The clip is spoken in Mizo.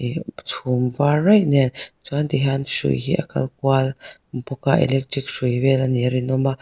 chhum var raih nen chuan hrui hi a kal kual vel a electric hrui vel a nih a rinawm a.